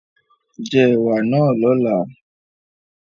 Jẹ ẹ̀wà náà lọ́la